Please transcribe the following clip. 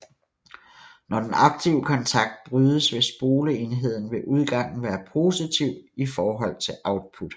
Når den aktive kontakt brydes vil spoleenden ved udgangen være positiv i forhold til Uoutput